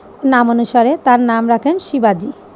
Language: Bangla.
নামানুসারে তার নাম রাখেন শিবাজী।